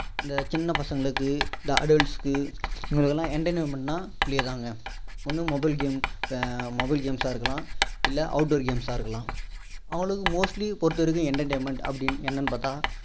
இந்த சின்ன பசங்களுக்கு இந்த adults க்கு இவங்களுக்குலாம் entertainment னா play தானங்க ஒண்ணு mobile games mobile games சா இருக்கலாம் இல்ல outdoor games சா இருக்கலாம் அவங்களுக்கு mostly பொறுத்த வரைக்கும் entertainment அப்படின்னு என்னன்னு பார்த்தா